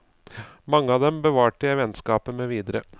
Mange av dem bevarte jeg vennskapet med videre.